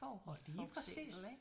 Ja lige præcis